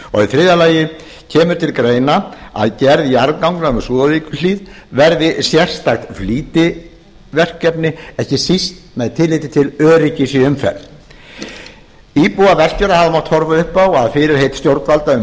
þriðja kemur til greina að gerð jarðganga um súðavíkurhlíð verði sérstakt flýtiverkefni með tilliti til öryggis íbúar vestfjarða hafa mátt horfa upp á að fyrirheit stjórnvalda um